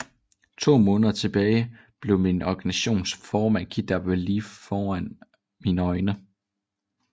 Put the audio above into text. To måneder tilbage blev min organisations formand kidnappet lige foran mine øjne